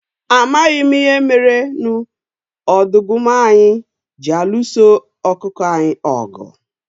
A maghị m ihe merenụ ọdọgụma anyị ji alụso okụkụ anyị ọgụ.